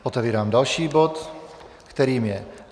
Otevírám další bod, kterým je